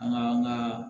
An ka an ka